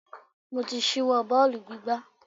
Mo ti ṣíwọ́ bọ́ọ̀lù gbígbá.